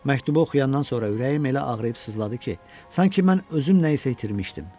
Məktubu oxuyandan sonra ürəyim elə ağrıyıb sızladı ki, sanki mən özüm nəyisə itirmişdim.